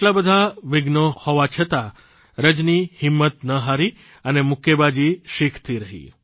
આટલા બધાં વિઘ્નો છતાં પણ રજની હિંમત ન હારી અને મુક્કેબાજી શીખતી રહી